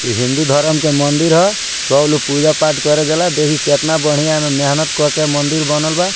इ हिन्दू धरम के मंदिर ह सब लोग पूजा-पाठ करे जाला देखि केतना बढ़िया एमें मेहनत करके मंदिर बनल बा।